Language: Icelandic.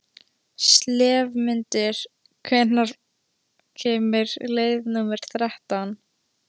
slefmundur, hvenær kemur leið númer þrettán?